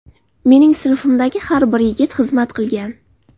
Mening sinfimdagi har bir yigit xizmat qilgan.